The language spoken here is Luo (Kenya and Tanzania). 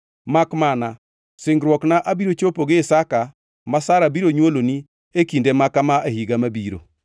Makmana singruokna abiro chopo gi Isaka ma Sara biro nywolone e kinde maka ma e higa mabiro.”